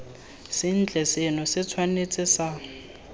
sentle seno se tshwanetse sa